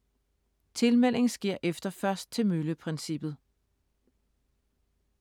Tilmelding sker efter først til mølle-princippet.